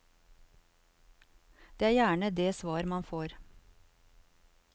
Det er gjerne det svar man får.